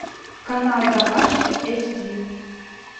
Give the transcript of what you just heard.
канал домашний эйч ди